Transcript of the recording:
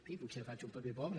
en fi potser faig un paper pobre